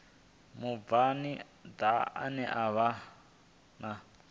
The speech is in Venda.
mubvann ḓa ane a vha